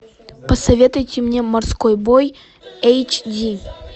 посоветуйте мне морской бой эйч ди